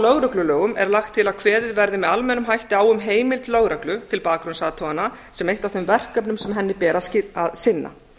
lögreglulögum er lagt til að kveðið verði með almennum hætti á um heimild lögreglu til bakgrunnsathugana sem eitt af þeim verkefnum sem henni ber að sinna